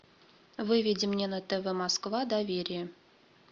выведи мне на тв москва доверие